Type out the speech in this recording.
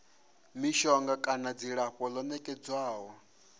mishonga kana dzilafho ḽo nekedzwaho